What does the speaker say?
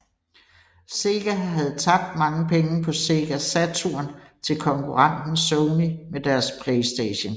Sega havde tabt mange penge på Sega Saturn til konkurrenten Sony med deres Playstation